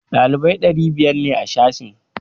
Ɗalibai ɗari biyar ne a sashen